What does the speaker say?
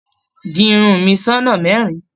Di irun mi sí ọ̀nà mẹ́rin.